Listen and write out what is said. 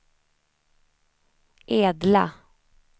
Edla